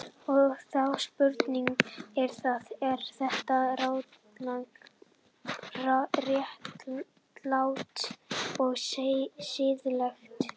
Og þá er spurningin, er það, er það réttlátt og siðlegt?